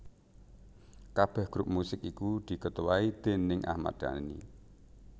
Kabeh grup musik iku diketuai déning Ahmad Dhani